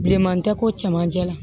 Bilenman tɛ ko cɛmanjɛ la